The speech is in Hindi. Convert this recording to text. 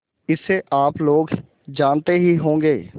इसे आप लोग जानते ही होंगे